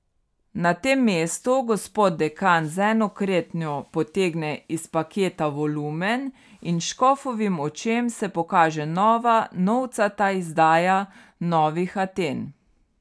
Na tem mestu gospod dekan z eno kretnjo potegne iz paketa volumen in škofovim očem se pokaže nova novcata izdaja Novih Aten.